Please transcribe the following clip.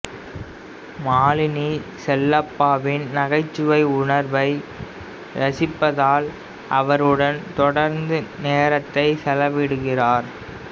மாலினி செல்லப்பாவின் நகைச்சுவை உணர்வை ரசிப்பதால் அவருடன் தொடர்ந்து நேரத்தை செலவிடுகிறார்